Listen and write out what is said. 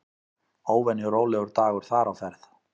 Óvenju rólegur dagur þar á ferð.